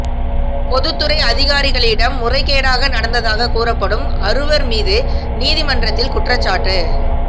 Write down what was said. பொதுத்துறை அதிகாரிகளிடம் முறைகேடாக நடந்ததாக கூறப்படும் அறுவர் மீது நீதிமன்றத்தில் குற்றச்சாட்டு